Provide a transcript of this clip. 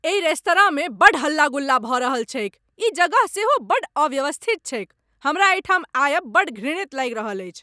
एहि रेस्तरांमे बड्ड हल्ला गुल्ला भऽ रहल छैक, ई जगह सेहो बड़ अव्यवस्थित छैक, हमरा एहिठाम आयब बड्ड घृणित लागि रहल अछि।